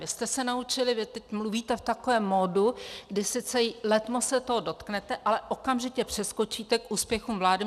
Vy jste se naučili, vy teď mluvíte v takovém modu, kdy sice letmo se toho dotknete, ale okamžitě přeskočíte k úspěchům vlády.